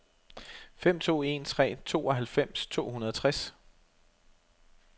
fem to en tre tooghalvfems to hundrede og tres